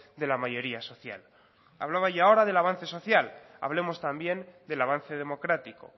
de la mayoría social hablaba ya ahora del avance social hablemos también del avance democrático